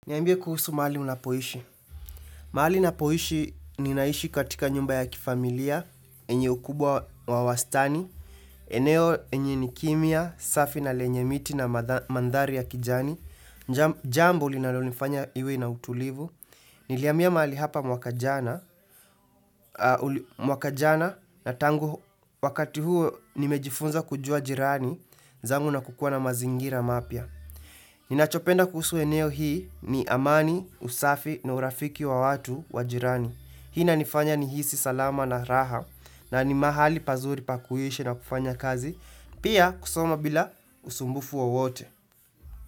Niambie kuhusu mahali unapoishi. Mahali napoishi ninaishi katika nyumba ya kifamilia, enye ukubwa wa wastani, eneo enye ni kimya, safi na lenye miti na mandhari ya kijani, jambo linalonifanya iwe na utulivu, nilihamia mahali hapa mwaka jana, mwaka jana na tangu wakati huo nimejifunza kujua jirani, zangu na kukuwa na mazingira mapya. Ninachopenda kuhusu eneo hii ni amani, usafi na urafiki wa watu wajirani Hii inanifanya nihisi salama na raha na ni mahali pazuri pakuishi na kufanya kazi Pia kusoma bila usumbufu wowote.